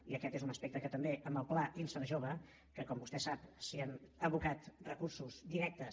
i aquest és un aspecte que també amb el pla inserjove que com vostè sap s’hi han abocat recursos directes